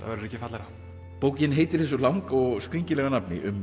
verður ekki fallegra bókin heitir þessu langa og skringilega nafni um